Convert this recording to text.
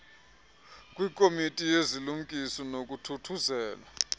kwikomiti yezilungiso nokuthuthuzelwa